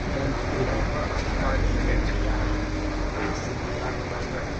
Yà na Fílíp ‘gbàdàrà n’ímè mmíri ahụ̀’ wéé “sì nà ya pútà.